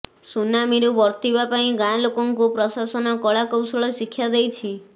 ସୁନାମୀରୁ ବର୍ତ୍ତିବା ପାଇଁ ଗାଁ ଲୋକଙ୍କୁ ପ୍ରଶାସନ କଳାକୌଶଳ ଶିକ୍ଷା ଦେଇଛି